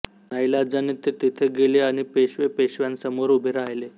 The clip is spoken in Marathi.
नाइलाजाने ते तेथे गेले आणि पेशवेपेशव्यांसमोर उभे राहिले